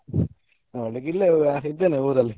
ನೋಡ್ಲಿಕ್ಕೆ ಇಲ್ಲ ಇದ್ದೇನೆ ಊರಲ್ಲಿ.